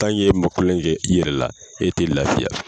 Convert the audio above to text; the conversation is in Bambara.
e ma kulonkɛ i yɛrɛ la, e te lafiya.